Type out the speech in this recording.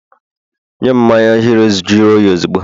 nyem mmanya hero juru oyi ozugbo!